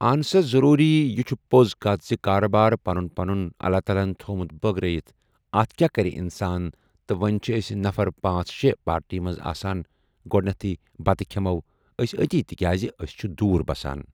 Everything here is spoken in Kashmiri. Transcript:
اہَن سا ضروٗری یہِ چھِ پوٚز کَتھ چھِ کاربار پنُن پنُن اللہ تعالٰی ہَن تھوٚمُت بٲگرٲیِتھ اَتھ کیٛاہ کَرِ اِنسان تہٕ وۄنۍ چھِ أسۍ نَفَر پانٛژھ شےٚ پارٹی منٛز آسان گۄڈنٮ۪تھٕے بَتہٕ کھیٚمو أسۍ أتی تِکیٛازِ أسۍ چھِ دوٗر بَسان۔